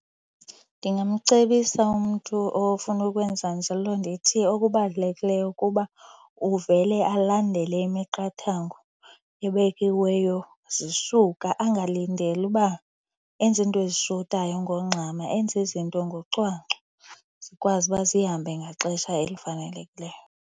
Ndingamcebisa umntu ofuna ukwenza njalo ndithi okubalulekileyo kuba uvele alandele imiqathango ebekiweyo zisuka. Angalindeli uba enze iinto ezishotayo ngokungxama, enze izinto ngocwangco. Zikwazi uba zihambe ngaxesha elifanelekileyo.